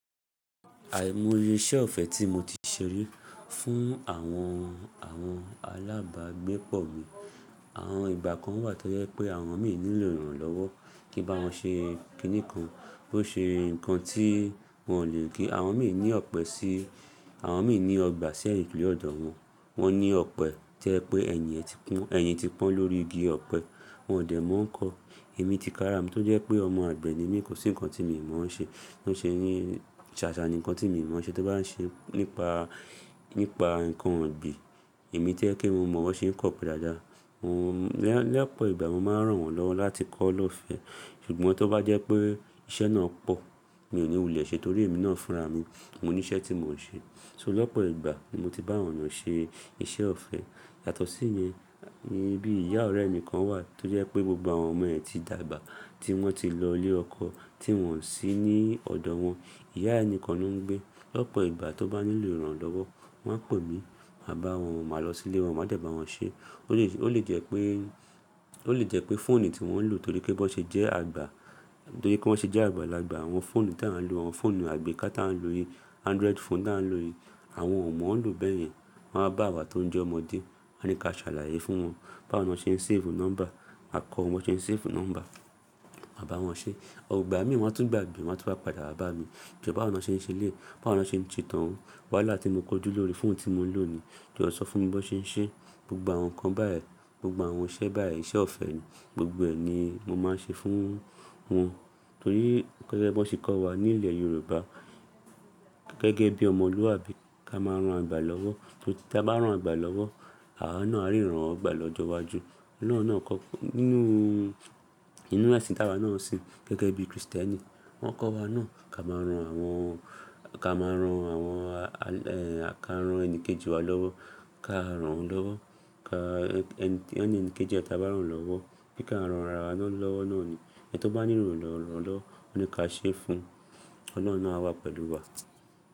Àìmọye iṣẹ́ ọ̀fẹ́ tí mo ti ṣerí fún àwọn, àwọn alábàgbépọ̀ mi. Àwọn ìgbà kan wà tó jẹ́ pé àwọn mí nílò ìrànlọ́wọ́ kí n bá wọn ṣe kìnì kan, bó ṣe nǹkan tí wọ́n ò lè gé. Àwọn mí ní ọ̀pẹ sí, àwọn mí ní ọgbà sí ẹ̀yìn kule ọ̀dọ̀ wọn. Wọ́n ní ọ̀pẹ to ẹ pé ẹ̀yìn ẹ ti pọ́n, ẹ̀yìn ti pọ́n lórí igi ọ̀pẹ. Wọn ò dẹ̀ mọ ń kọ. Èmi ti ká ra mi tó jẹ́ pé ọmọ àgbẹ̀ ni mí, kò sí nǹkan tí mii mọ̀ ṣe. Bó ṣe ní ṣàṣà ni nǹkan tí mi mọ̀ ṣe tó bá ń ṣe nípa, nípa nǹkan ọ̀gbìn. Èmi to ẹ́ kí mo mọ̀ ọ́n ṣe ń kọ́ ọ̀pẹ dáadáa. Lẹ́, lẹ́ẹ̀pọ̀ ìgbà mo máa ń ràn wọ́n lọ́wọ́ láti kọ́ ọ́ lọ́fẹ́. Ṣùgbọ́n tó bá jẹ́ pé iṣẹ́ náà pọ̀, mi ò ní wù mí lè ṣe torí èmi náà ń fúnra mi. Mo ní iṣẹ́ tí mò ń ṣe. So lọpọ̀ ìgbà ni mo ti bá àwọn èyán ṣe iṣẹ́ ọ̀fẹ́. Yàtọ̀ sí ìyẹn, níbí ìyá ọ̀rẹ́ mi kan wà tó jẹ́ pé gbogbo àwọn ọmọ ẹ̀ ti dàgbà tí wọ́n ti lọ ilé ọkọ tí wọ́n sì ní ọ̀dọ̀ wọn. Ìyá yi ni kan lo ń gbé. Lọpọ̀ ìgbà tó bá nílò ìrànlọ́wọ́, wọ́n á pè mí, màá bá wọn wọ́n, màá lọ sí ilé wọn, màá dẹ bà wọ́n ṣe. Ó lè jẹ́ pé, ó lè jẹ́ pé fóònù tí wọ́n ń lò torí pé bó ṣe jẹ́ àgbà, torí pé wọ́n ṣe jẹ́ àgbà lagbà àwọn fóònù tí à ń lò, àwọn fóònù àgbékà tí à ń lò yìí, Android phone tí à ń lò yìí, àwọn ò mọ̀ ọ́n lò bẹ́ẹ̀ yẹn. Wọ́n áa bá wa tó ń jẹ́ ọmọdé, wọ́n a ní ká ṣàlàyé fún wọn báwo ni wọ́n ṣe ń save nọ́mbà. Màá kọ́ wọn bí wọ́n ṣe ń save nọ́mbà, màá bá wọn ṣe. Igbà mí waa n tú ń gbàgbé, waa n tú wá padà wá bá mi jọ báwo lọ ṣe ń ṣe éleyi, báwo lọ ṣe n ṣe t'ọun wáhala ti mo kójú lórí fóònù tí mo ń lò ni. Ki o sọ fún mi bó ṣe ń ṣe gbogbo àwọn nǹkan báyìí, gbogbo àwọn iṣẹ́ báyìí, iṣẹ́ ọ̀fẹ́ ni gbogbo ẹ ni mo máa ń ṣe fún wọn. Torí pé bọ́ ṣe kọ́ wa ní ilẹ̀ Yorùbá gẹ́gẹ́ bí ọmọlúwàbí ká máa ń ran àgbà lọ́wọ́. Torí tí a bá ran àgbà lọ́wọ́, àwa náà áa rí ìrànwọ gbà lọ́jọ́ iwájú. Ọlọ́run náà kọ́, nínú, nínú ẹ̀sìn tí a wa náà sì ń gẹ́gẹ́ bí Kristẹ́nì, wọ́n kọ́ wa náà ká máa ran àwọn, ká máa ran àwọn, ẹẹn ká máa ran ẹni kejì wa lọ́wọ́, ká ràn lọ́wọ́. Ka ẹ́ni kejì ẹ tí a bá ràn lọ́wọ́, bí ká ràn ara wa lọ́wọ́ náà ni. Ẹni tó bá nílò ìrànlọ́wọ́, ó ní ká ṣe fún un. Ọlọ́run náa a wà pẹ̀lú wa.